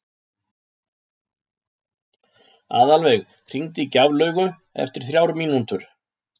Aðalveig, hringdu í Gjaflaugu eftir þrjár mínútur.